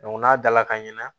n'a dala ka ɲina